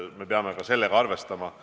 Me peame ka sellega arvestama.